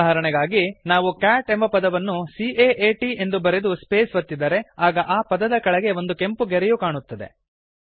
ಉದಾಹರಣೆಗಾಗಿ ನಾವು ಕ್ಯಾಟ್ ಎಂಬ ಪದವನ್ನು C A A T ಎಂದು ಬರೆದು ಸ್ಪೇಸ್ ಒತ್ತಿದರೆ ಆಗ ಆ ಪದದ ಕೆಳಗೆ ಒಂದು ಕೆಂಪು ಗೆರೆಯು ಕಾಣುತ್ತದೆ